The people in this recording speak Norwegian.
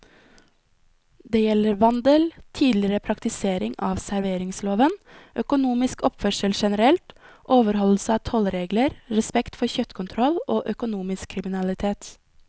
Det gjelder vandel, tidligere praktisering av serveringsloven, økonomisk oppførsel generelt, overholdelse av tollregler, respekt for kjøttkontroll og økonomisk kriminalitet.